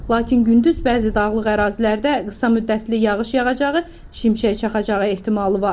Lakin gündüz bəzi dağlıq ərazilərdə qısa müddətli yağış yağacağı, şimşək çaxacağı ehtimalı var.